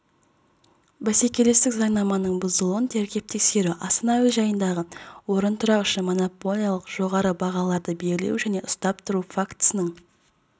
бәсекелестік заңнаманың бұзылуын тергеп-тексеру астана әуежайдағы орынтұрақ үшін монополиялық жоғары бағаларды белгілеу және ұстап тұру фактісінің